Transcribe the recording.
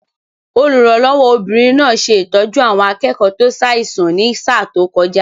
Olùrànlọ́wọ́ obìnrin náà ṣe ìtọ́jú àwọn akẹ́kọ̀ọ́ tó ṣàìsàn ní sáà tó kọjá